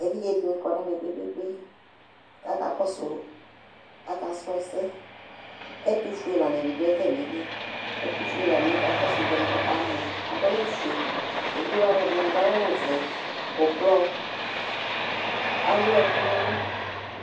Evidzedɩnɩ kɔ n'ɛmɛ kpekpekpe k'aka kɔsʋ, akasrɔ ɛsɛ Ɛtʋfuelanɩdɩ dʋ atamili ; ɛtʋfuelanɩɛ kakɔsʋ evidzewanɩ k'ɔkamɔ ; adʋ awʋfue , evidzewanɩ ɛdɩnɩ adʋ awʋvɛ, ʋblɔ , ewuɛkʋ n'ɛlʋ